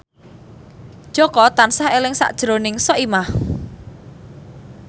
Jaka tansah eling sakjroning Soimah